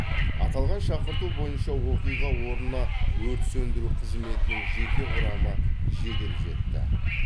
аталған шақырту бойынша оқиға орнына өрт сөндіру қызметінің жеке құрамы жедел жетті